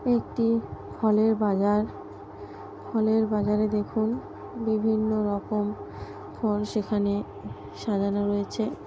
একটি ফলের বাজার ফলের বাজারে দেখুন বিভিন্ন রকম ফল সেখানে সাজানো রয়েছে।